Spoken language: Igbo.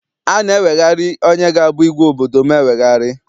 A na-eweghari onye ga abụ igwe obodo m eweghari.